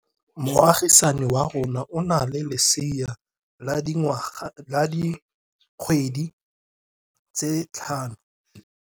Moagisane wa rona o na le lesea la dikgwedi tse tlhano.